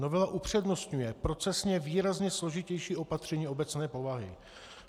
Novela upřednostňuje procesně výrazně složitější opatření obecné povahy.